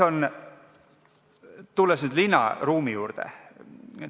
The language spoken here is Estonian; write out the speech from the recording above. Tulen nüüd linnaruumi juurde.